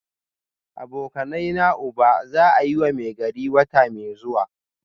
Abokanaina uba za a yi Maigari wata mai zuwa